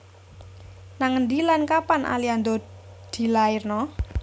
Nang endi lan kapan Aliando dilairno?